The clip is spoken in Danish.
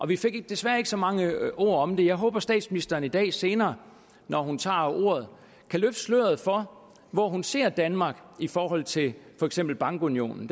vi fik desværre ikke så mange ord om det jeg håber at statsministeren i dag senere når hun tager ordet kan løfte sløret for hvor hun ser danmark i forhold til for eksempel bankunionen